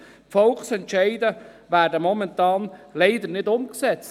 Momentan werden Volksentscheide leider nicht umgesetzt.